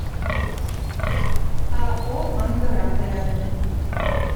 ао ангара рядом